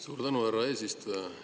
Suur tänu, härra eesistuja!